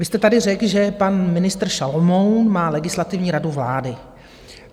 Vy jste tady řekl, že pan ministr Šalomoun má Legislativní radu vlády.